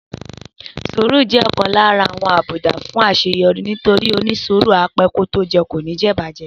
Sùúrù jẹ́ ọ̀kan lára àwọn àbùdá fún àṣeyọrí nítorí pé onísùúrù á pẹ́ kó tó jẹ kò ní jẹ ìbàjẹ́